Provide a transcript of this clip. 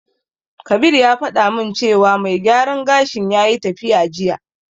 Kabir ya faɗa min cewa mai gyaran gashin yayi tafiya jiya.